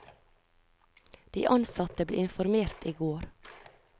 De ansatte ble informert i går.